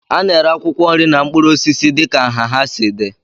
A na-ere akwụkwọ nri na mkpụrụ osisi dịka nha ha si dị